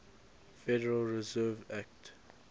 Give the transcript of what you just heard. federal reserve act